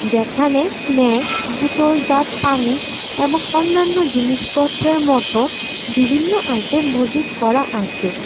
যেখানে স্নাক্স বোতলজাত পানি এবং অন্যান্য জিনিসপত্রের মত বিভিন্ন আইটেম মজুত করা আছে।